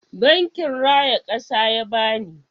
Bankin raya kasa ya bani.